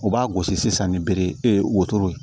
U b'a gosi sisan ni bere ye wotoro ye